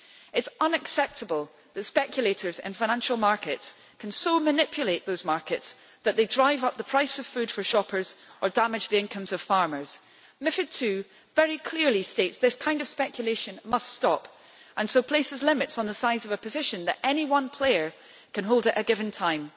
It is unacceptable that speculators and financial markets can so manipulate the markets that they drive up the price of food for shoppers or damage the incomes of farmers. Method 2 very clearly states that this kind of speculation must stop and so places limits on the size of position that any one player can hold at a given time.